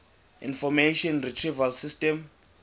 information retrieval system